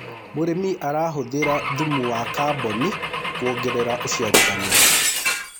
mũrĩmi arahuthira thumu wa carbon kuongerera uciarithanĩa